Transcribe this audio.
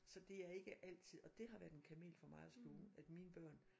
Så det er ikke altid og det har været en kamel for mig at sluge at mine børn